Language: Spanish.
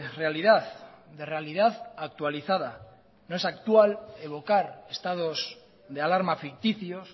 realidad de realidad actualizada no es actual evocar estados de alarma ficticios